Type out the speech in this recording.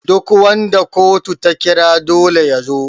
duk wanda kotu ta kira dole ya zo